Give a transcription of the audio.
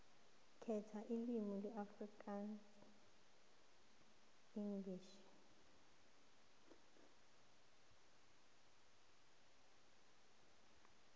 khetha ilimi afrikaansenglish